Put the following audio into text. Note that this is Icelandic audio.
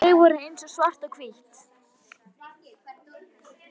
Þau voru eins og svart og hvítt.